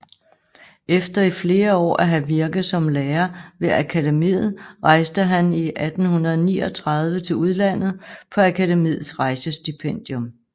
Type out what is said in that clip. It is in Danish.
Efter i flere år at have virket som lærer ved Akademiet rejste han i 1839 til udlandet på Akademiets rejsestipendium